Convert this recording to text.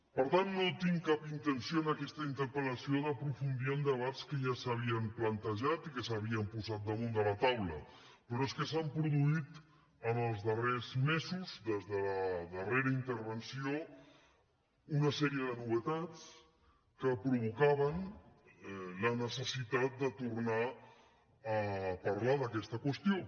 per tant no tinc cap intenció en aquesta interpel·lació d’aprofundir en debats que ja s’havien plantejat i que s’havien posat damunt de la taula però és que s’han produït en els darrers mesos des de la darrera intervenció una sèrie de novetats que provocaven la necessitat de tornar a parlar d’aquesta qüestió